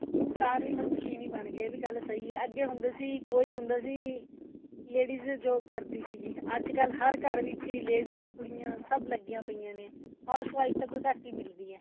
ਇਨਸਾਨ ਵੀ ਹੁਣ ਮਸ਼ੀਨ ਹੀ ਬਣ ਗਏ ਇਹ ਗੱਲ ਵੀ ਸਹੀ ਹੈ ਅੱਗੇ ਹੁੰਦੇ ਸੀ ਵੀ ਕੋਈ ਹੁੰਦਾ ਸੀ ladies job ਕਰਦੀ ਸੀਗੀ ਅੱਜਕਲ ਹਰ ਘਰ ਵਿੱਚ ਹੀ ladies ਕੁੜੀਆਂ ਸਭ ਲੱਗੀਆਂ ਪਈਆਂ ਨੇ house wife ਤਾਂ ਕੋਈ ਘੱਟ ਹੀ ਮਿਲਦੀ ਹੈ